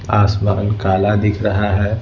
आसमान काला दिख रहा है।